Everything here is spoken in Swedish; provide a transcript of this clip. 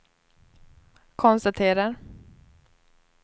konstaterar